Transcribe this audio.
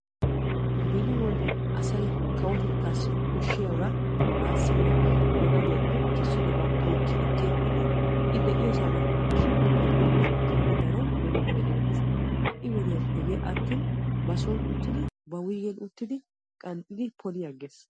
Beni asay kawotettassi koshshiyaaba baassi woykko ba gadiyappe tookki ekki efiidi I de'iyoossa gakkanashin efiyooge keehi daro beni wode erettees. Ha'i wodiyaa asay hegee atin ba soon uttidi ba wuyggen uttidi qanxxiidi poli agees.